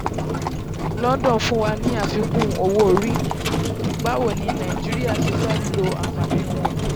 london fún wa ní àfikún owó orí; báwo ni nàìjíríà ṣe lè lo àǹfààní wọn?